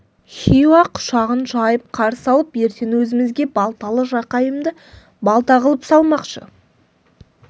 хиуа құшағын жайып қарсы алып ертең өзімізге балталы жақайымды балта қылып салмақшы